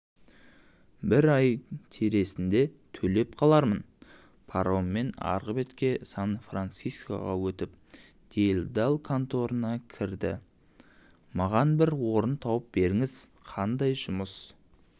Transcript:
бір ай тересінде төлеп қалармынпароммен арғы бетке сан-францискоға өтіп делдал конторына кірдімаған бір орын тауып беріңіз қандай жұмыс